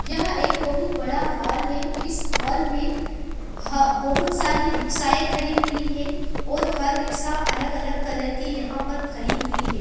यह एक बहुत बड़ा हॉल है इस हॉल में ह बहुत सारी रिक्शाये खड़ी हुई हैं और हर रिक्शा अलग-अलग कलर की यहां पर खड़ी हुई है।